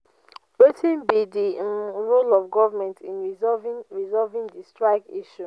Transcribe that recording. wetin be di um role of government in resolving resolving di srike issue?